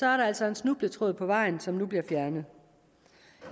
er der altså en snubletråd på vejen som bliver fjernet